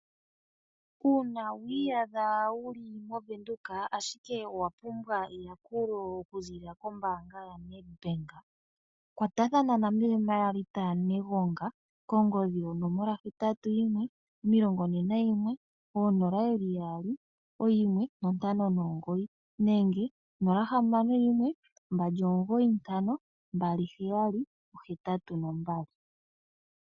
Uuna wi iyadha wuli moVenduka ashike owa pumbwa eyakulo oku ziilila kombaanga yaNedbank, kwatathana na me Marth yaNegonga kongodhi yonomola hetatu yimwe omilongo ne nayimwe, oonola yeli yaali, oyimwe nontano nomugoyi nenge nola hamano yimwe mbali omugoyi ntano mbali heyali ohetatu nombali.